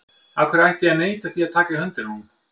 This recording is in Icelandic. Af hverju ætti ég að neita því að taka í höndina á honum?